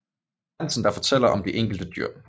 Hansen der fortæller om de enkelte dyr